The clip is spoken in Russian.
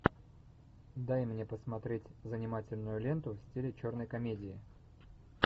дай мне посмотреть занимательную ленту в стиле черной комедии